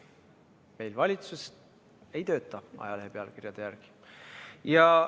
Meil valitsus ei tööta ajalehe pealkirjade järgi!